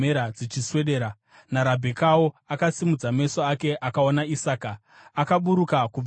naRabhekawo akasimudza meso ake akaona Isaka. Akaburuka kubva pangamera yake